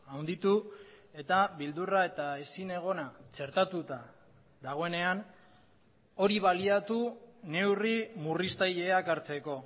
handitu eta beldurra eta ezinegona txertatuta dagoenean hori baliatu neurri murriztaileak hartzeko